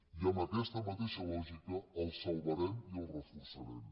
i amb aquesta mateixa lògica el salvarem i el reforçarem